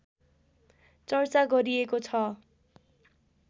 चर्चा गरिएको छ